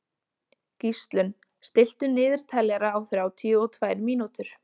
Gíslunn, stilltu niðurteljara á þrjátíu og tvær mínútur.